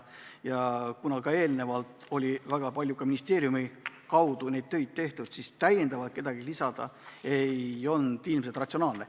Ja kuna ministeeriumi kaudu oli enne väga palju neid töid tehtud, siis täiendavalt kedagi kaasata ei olnud ratsionaalne.